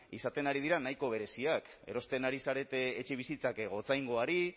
izaten ari dira nahiko bereziak erosten ari zarete etxebizitzak gotzaingoari